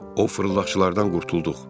O fırıldaqçılardan qurtulduq.